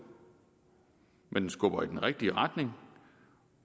men den skubber i den rigtige retning